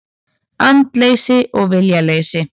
Andleysi og viljaleysi.